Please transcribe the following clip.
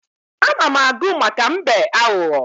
Ana m agụ maka mbe aghụghọ.